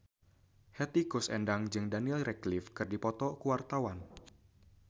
Hetty Koes Endang jeung Daniel Radcliffe keur dipoto ku wartawan